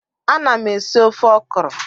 Ana m esi ofe ọkrọ